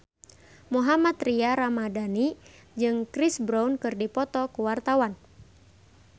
Mohammad Tria Ramadhani jeung Chris Brown keur dipoto ku wartawan